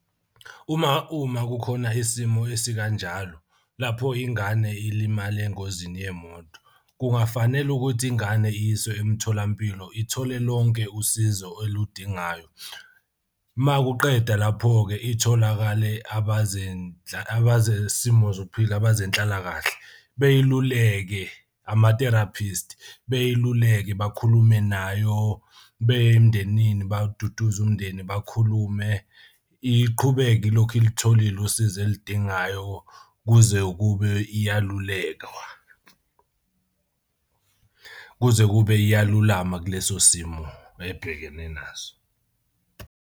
Uma uma kukhona isimo esikanjalo lapho ingane ilimale engozini yemoto, kungafanele ukuthi ingane iyiswe emtholampilo ithole lonke usizo eludingayo. Uma kuqeda lapho-ke itholakale abazesimo zokuphila abazenhlalakahle, beyiluleke ama-therapist beyiluleka bakhulume nayo beye emndenini baduduze umndeni bakhulume. Iqhubeke ilokhu ilitholile usizo elidingayo kuze kube iyalulekwa. Kuze kube iyalulama kuleso simo ebhekene naso.